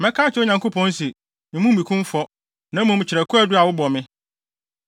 Mɛka akyerɛ Onyankopɔn se: Mmu me kumfɔ, na mmom kyerɛ kwaadu a wobɔ me.